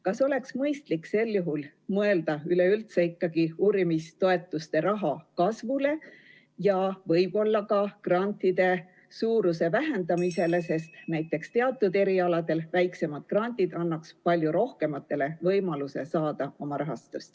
Kas oleks mõistlik sel juhul mõelda üleüldse ikkagi uurimistoetuste raha kasvule ja võib-olla ka grantide suuruse vähendamisele, sest näiteks teatud erialadel annaks väiksemad grandid palju rohkematele võimaluse rahastust saada?